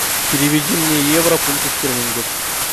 переведи мне евро в фунты стерлингов